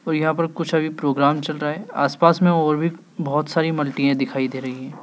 और यहां पर कुछ अभी प्रोग्राम चल रहा है आसपास में और भी बहुत सारी मल्टीये दिखाई दे रही हैं।